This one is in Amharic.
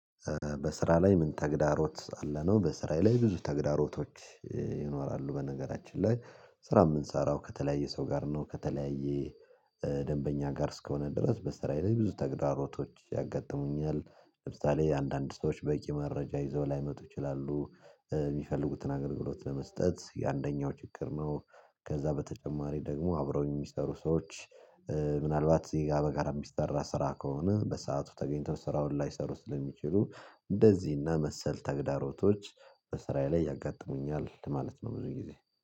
በስራ ላይ ምን ተግዳሮት አለ? ነው በስራ ላይ ብዙ ተግዳሮቶች ይኖራሉ በነገራችን ላይ ስራ የምንሰራው ከተለያየ ሰው ጋር ነው። ከተለያየ ደንበኛ ጋር እስከሆነ ድረስ በስራዬ ላይ ብዙ ተግዳሮቶች ያጋጥሙኛል። ለምሳሌ አንዳንድ ሰዎች በቂ መረጃ ይዘው ላይመጡ ይችላሉ፤ የሚፈልጉትን አገልግሎት ለመስጠት ይህ አንደኛው ችግር ነው። ከዛ በተጨማሪ ደግሞ አብረውኝ የሚሰሩ ሰዎች ሞናልባት በጋራ የሚስራ ስራ ከሆነ፤ በሰአቱ ተገኝተው ስራውን ላይሰሩ ስለሚችሉ፤ እንደዚህና መሰል ተግዳሮቶች በስራዬ ላይ ያጋጥሙኛል ማለት ነው ብዙ ጊዜ።